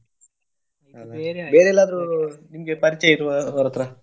ನಿಮ್ಗೆ ಪರಿಚಯ ಇರುವವ್ರತ್ರ.